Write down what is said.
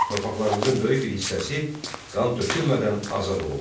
Torpaqlarımızın böyük bir hissəsi qan tökülmədən azad olunmuşdu.